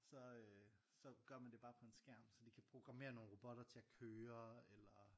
Så øh så gør man det bare på en skærm så de kan programmere nogle robotter til at køre eller